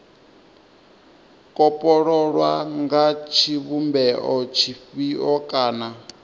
kopololwa nga tshivhumbeo tshifhio kana